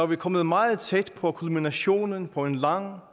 vi kommet meget tæt på kulminationen på en lang